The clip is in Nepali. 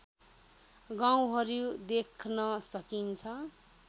गाउँहरू देख्न सकिन्छ